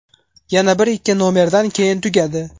Yana bir-ikki nomerdan keyin tugadi.